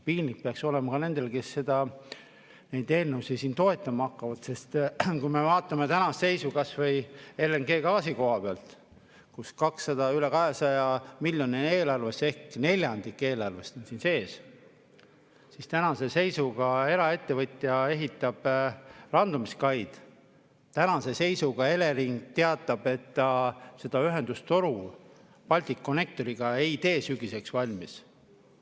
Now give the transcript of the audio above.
Piinlik peaks olema ka nendel, kes seda neid eelnõusid siin toetama hakkavad, sest kui me vaatame tänast seisu kas või LNG‑gaasi kohapealt, kus üle 200 miljoni on eelarves ehk neljandik eelarvest on siin sees, siis tänase seisuga eraettevõtja ehitab randumiskaid, tänase seisuga Elering teatab, et ta seda ühendustoru Balticconnectoriga ei tee sügiseks valmis.